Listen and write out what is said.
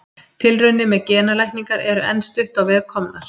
Tilraunir með genalækningar eru enn stutt veg á komnar.